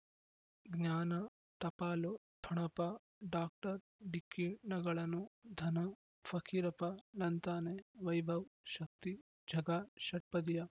ಜ್ಞಾನ ಟಪಾಲು ಠೊಣಪ ಡಾಕ್ಟರ್ ಢಿಕ್ಕಿ ಣಗಳನು ಧನ ಫಕೀರಪ್ಪ ಳಂತಾನೆ ವೈಭವ್ ಶಕ್ತಿ ಝಗಾ ಷಟ್ಪದಿಯ